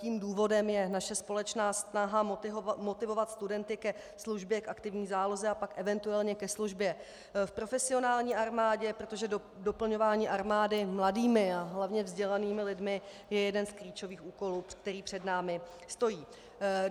Tím důvodem je naše společná snaha motivovat studenty ke službě v aktivní záloze a pak eventuálně ke službě v profesionální armádě, protože doplňování armády mladými a hlavně vzdělanými lidmi je jeden z klíčových úkolů, který před námi stojí.